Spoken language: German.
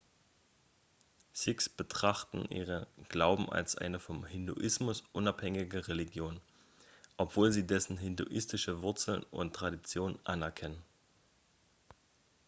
sikhs betrachten ihren glauben als eine vom hinduismus unabhängige religion obwohl sie dessen hinduistische wurzeln und traditionen anerkennen